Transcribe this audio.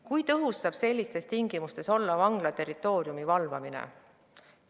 Kui tõhus saab sellistes tingimustes olla vangla territooriumi valvamine?